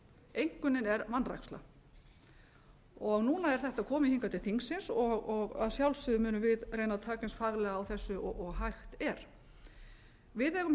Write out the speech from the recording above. einkunnin er vanræksla núna er þetta komið hingað til þingsins og að sjálfsögðu munum við reyna að taka eins faglega á þessu og hægt er við eigum hins vegar þegar við